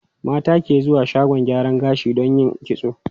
Mata ke zuwa shagon gyaran gashi don yin kitso.